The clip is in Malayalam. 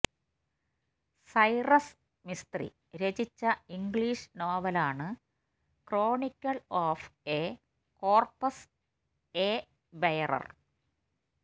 സൈറസ് മിസ്ത്രി രചിച്ച ഇംഗ്ലീഷ് നോവലാണ്ക്രോണിക്കിൾ of a corpse a bearer